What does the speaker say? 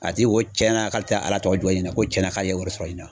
A ti ko tiɲɛn na k'ale tɛ ala tɔgɔ juguya ɲinɛ ko tiɲɛna k'ale ye wari sɔrɔ ɲina.